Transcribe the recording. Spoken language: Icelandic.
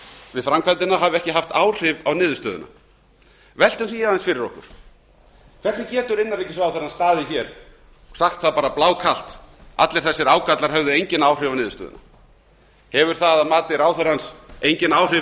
við framkvæmdina hafi ekki haft áhrif á niðurstöðuna veltum því aðeins fyrir okkur hvernig getur innanríkisráðherrann staðið hér og sagt það bara blákalt að allir þessir ágallar hefðu engin áhrif á niðurstöðuna hefur það að mati ráðherrans engin áhrif